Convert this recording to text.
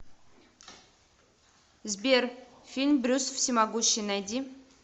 сбер фильм брюс всемогущий найди